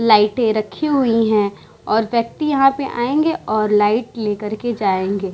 लाइटे रखी हुई हैं और व्यक्ति यहाँ पे आएंगे और लाइट लेकर के जायेंगे।